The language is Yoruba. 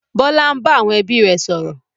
Bọlá ń bá àwọn ẹbí rẹ sọ̀rọ̀